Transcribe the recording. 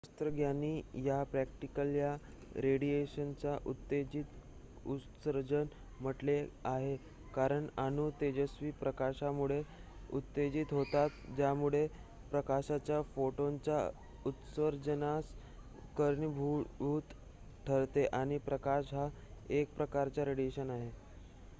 "शास्त्रज्ञांनी या प्रक्रियेला "रेडिएशनचे उत्तेजित उत्सर्जन" म्हटले आहे कारण अणू तेजस्वी प्रकाशामुळे उत्तेजित होतात ज्यामुळे प्रकाशाच्या फोटॉनच्या उत्सर्जनास कारणीभूत ठरते आणि प्रकाश हा एक प्रकारचा रेडिएशन आहे.